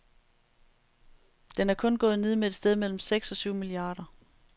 Den er kun gået ned med et sted mellem seks og syv milliarder.